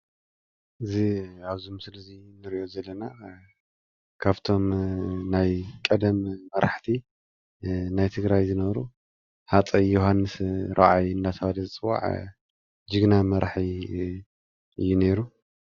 እዚ ኣብዚ ምስሊ ንርኦ ዘለና ካብቶም ናይ ቀደም መራሕቲ ናይ ትግራይ ዝነበሩ ሃፀይ ዮውሐንስ ራብዓይ እንዳተባሃሉ ዝፅዋዕ ጅግና መራሒ እዩ ነይሩ።